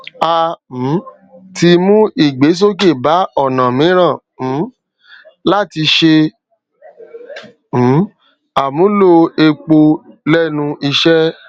a um ti mú ìgbésókè bá ònà míràn um láti ṣe um àmúlò epo lénu iṣé